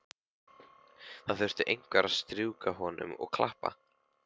Það þurfti einhver að strjúka honum og klappa.